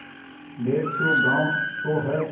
डेढ़ सौ गॉँव तो हैं